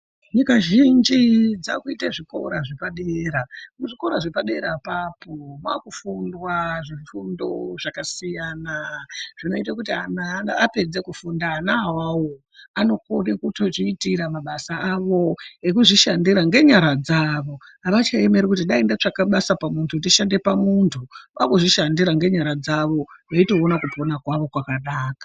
Nyika zhinji dzakuite zvikora zvepadera. Muzvikora zvepadera apapo makufundwa zvifundo zvakasiyana zvinoite kuti antu apedze kufunda ana awawo anokone kutozviitira mabasa avo ekuzvishandira ngenyara dzawo, avachaemeri kuti dai ndatsvaka basa pamuntu, ndishandire muntu, vakuzvishandira ngenyara dzavo veitoona kupona kwavo kwakanaka.